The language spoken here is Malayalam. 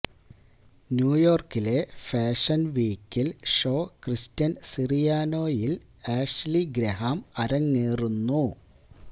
ന്യൂയോർക്കിലെ ഫാഷൻ വീക്കിൽ ഷോ ക്രിസ്റ്റ്യൻ സിറിയാനോയിൽ ആഷ്ലീ ഗ്രഹാം അരങ്ങേറുന്നു